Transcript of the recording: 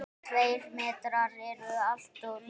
Tveir metrar eru alltof lítið.